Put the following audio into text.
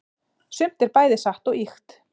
sumt er bæði satt og ýkt